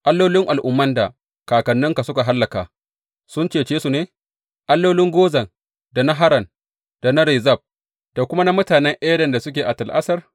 Allolin al’umman da kakannina suka hallaka, sun cece su ne, allolin Gozan, da na Haran, da na Rezef, da kuma na mutane Eden da suke a Tel Assar?